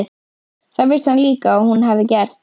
Það vissi hann líka að hún hafði gert.